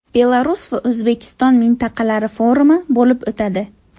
Belarus va O‘zbekiston mintaqalari forumi bo‘lib o‘tadi.